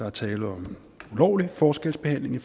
er tale om ulovlig forskelsbehandling